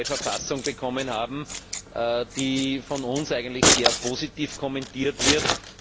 eine neue Verfassung bekommen haben, die von uns eigentlich sehr positiv kommentiert wird.